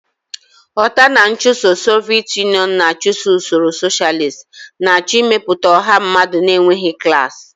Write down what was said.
Ghọta na nchụso Soviet Union na-achụ usoro socialist, na-achọ ịmepụta ọha mmadụ na-enweghị klas.